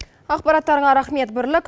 ақпараттарға рахмет бірлік